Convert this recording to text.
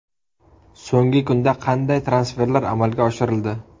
So‘nggi kunda qanday transferlar amalga oshirildi?.